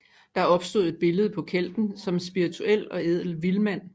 Der opstod et billede på kelten som en spirituel og ædel vildmand